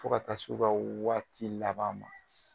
Fo ka taa se u ka waati laban ma